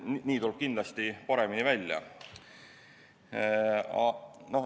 Nii tuleb kindlasti paremini välja.